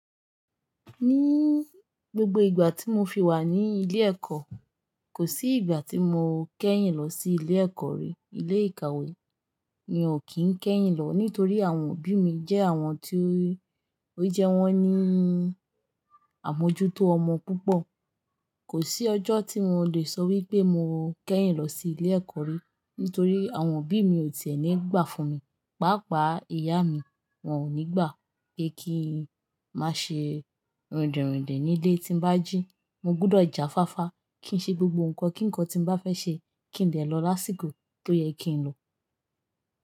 Ní gbogbo ìgbà tí mo fi wà ní ilé ẹ̀kọ́, kò sí ìgbà tí mo kẹ́yìn lọ sí ilé ẹ̀kọ́ rí. Ilé ìkàwé mi ò kí n kẹ́yìn lọ nítorí àwọn òbí mi jẹ́ àwọn tí ó, ó jẹ wọ́n ní àmójútó ọmọ púpọ̀. Kò sí ọjọ́ tí mo le sọ wípé mo kẹ́yìn lọ sí ilé ẹ̀kọ́ rí, nítorí àwọn òbí mi ò ti è ní gbà fún mi. Páápàá ìyá mi, wọn ò ní gbà pé kí n má ṣe rindìn rindìn ní ilé tí n bá jí. Mo gbọdọ̀ já fáfá, kí n ṣe gbogbo nǹkan kí nǹkan tí mo bá fẹ́ ṣe, kí n dẹ̀ lọ lásìkò tó yẹ kí n lọ.